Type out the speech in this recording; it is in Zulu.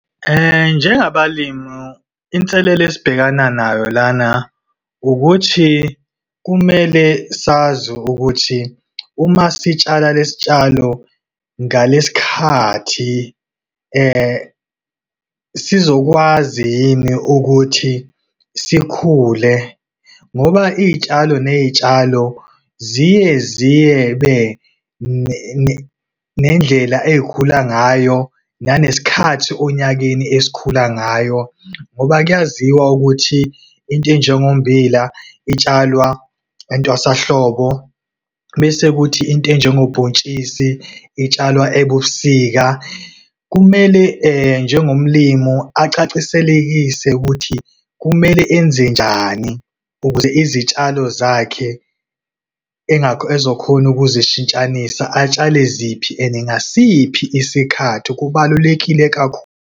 Njengabalimu, inselele esibhekana nayo lana, ukuthi kumele sazi ukuthi uma sitshala lesi sitshalo ngalesikhathi , sizokwazi yini ukuthi sikhule. Ngoba izitshalo nezitshalo, ziye ziyebe nendlela ey'khula ngayo, nanesikhathi onyakeni esikhula ngayo. Ngoba, kuyaziwa ukuthi intenjengo mmbila, itshalwa entwasahlobo, bese kuthi intenjengo bhontshisi itshalwa ebusika. Kumele njengomlimu acaciselekise, ukuthi kumele enze njani, ukuze izitshalo zakhe ezokhona ukuzishintshanisa, atshale ziphi and ngasiphi isikhathi. Kubalulekile .